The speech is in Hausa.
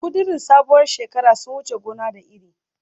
Kudirin sabuwar shekara sun wuce gona da iri